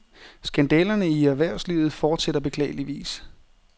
Skandalerne i erhvervslivet fortsætter beklageligvis.